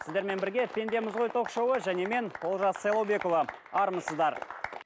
сіздермен бірге пендеміз ғой ток шоуы және мен олжас сайлаубекұлы армысыздар